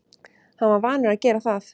Hann var vanur að gera það.